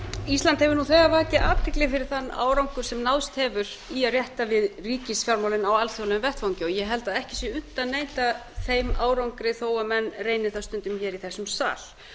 ísland hefur nú þegar vakið athygli fyrir þann árangur sem náðst hefur í að rétta við ríkisfjármálin á alþjóðlegum vettvangi og ég held að ekki sé unnt að neita þeim árangri þó að menn reyni það stundum í þessum sal